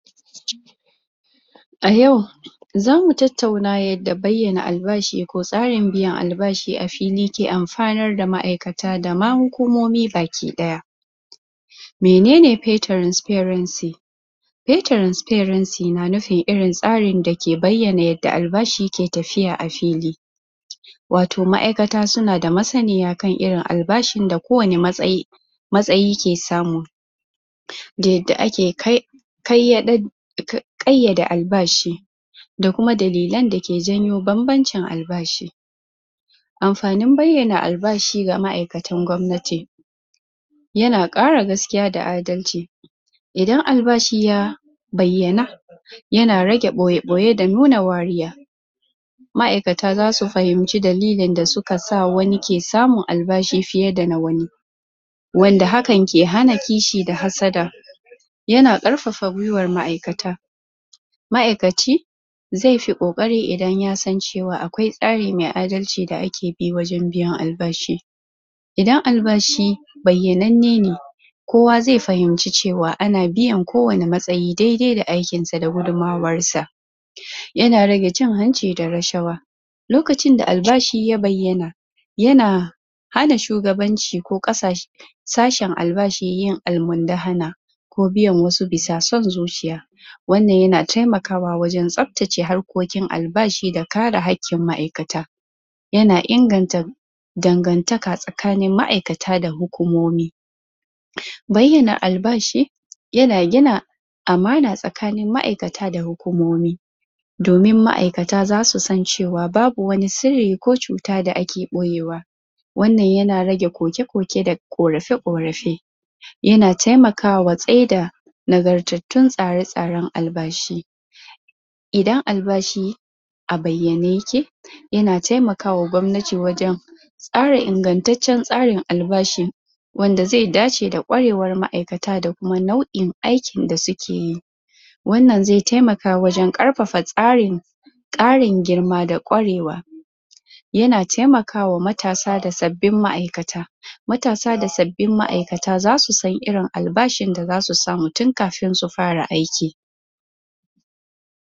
A yau zamu tattana yadda bayyana albashi ko tsarin biyan albashi a fili ke alfanar da ma'aikata da ma hukumomi baki ɗaya mene ne pay tranferency (pay transferency)na nufin irin tsari dake bayyana yadda tsarin biyan albashi ke tafiya a fili wato ma'aika suna da masaniya kan irin albashi da kowane matsayi matsayi ke samu da yadda ake kai ya ɗin ƙayyade albashi da kuma dalilan dake janwo bambancin albashi amfanin bayyana albashi ga ma'aikatan gwamnati yana ƙara gaskiya da adalci idan albashi ya bayyana yana rage ɓoye-ɓoye da nuna wariya ma'aikata za su fahinci dalilin da suka sa wani ke samun albashi fiye da na wani wanda haka ke hana kishi da hassada yana ƙarfafa gwiwar ma'aikata ma'aikaci zai fi ƙoƙori idan ya san cewa akwai tsari mai adalci da ake bi wajen biyan albashi idan albashi bayyanan ne kowa zai fahimci cewa ana biyan kowane matsayi dai-dai da aikin sa da kuma gudunmarsa yana rage cin hanci da rashawa lokacin da albashi ya bayyana yana ana shugabanci ko ƙasashe sashin albashi yin almundana ko biyan wasu bisa son zuciya wannan yana taimakawa wajen tsabtace harkokin albashi da kare hanƙin ma'aikata yana inganta dangantaka tsakanin ma'aikata da hukumomi bayyana albashi yana gina amana tsakanin ma'aikata da hukumomi domin ma'aikata za su san cewa babu wani sirri ko cuta da ake ɓoyewa wannan yana rage koke-koke da ƙorafe-ƙorafe yana taimakawa tsaida nagartattun tsare-tsaren albashi idan albashi a bayyane yake yana taimakawa gwamnati wajen tsara ingantaccen tsarin albashi wanda zai dace da kwarewar ma'aikata da kuma nau'in aikin da suke yi wannan zai taimaka wajen ƙarfafa tsarin ƙarin girma da kwarewa yana taimakawa matasa da sabbin ma'aikata matasa da sabbin ma'aikata za su san irin albashin da za su samu tun kafin su fara aiki.